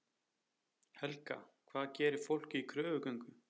Helga: Hvað gerir fólk í kröfugöngu?